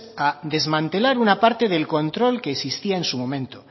a desmantelar una parte del control que existía en su momento